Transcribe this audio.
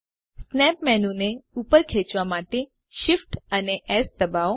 snap menu ને ઉપર ખેચવા માટે Shift અને એસ દબાવો